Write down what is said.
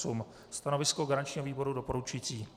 Stanovisko garančního výboru doporučující.